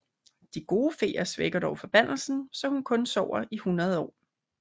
De gode feer svækker dog forbandelsen så hun kun sover i 100 år